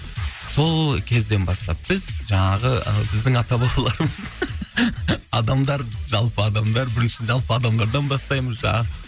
сол кезден бастап біз жаңағы і біздің ата бабаларымыз адамдар жалпы адамдар бірінші жалпы адамдардан бастаймыз жаңағы